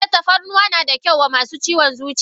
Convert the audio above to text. Eh tafarnuwa na da kyau wa masu ciwon zuciya.